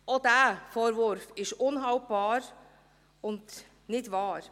Auch dieser Vorwurf ist unhaltbar und nicht wahr.